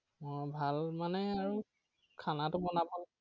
উহ ভাল মানে আৰু তো বনাব।